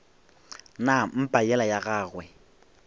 na mpa yela ya gagwe